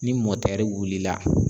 Ni mɔtɛri wulila